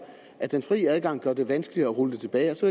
at den fri adgang gør det vanskeligere at rulle det tilbage og så